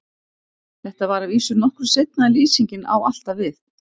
Þetta var að vísu nokkru seinna en lýsingin á alltaf við.